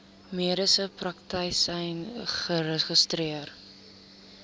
mediese praktisyn geregistreer